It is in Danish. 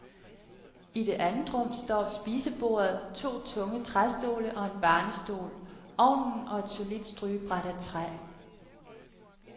I det andet rum står spisebordet, to tunge træstole og en barnestol, ovnen og et solidt strygebræt af træ.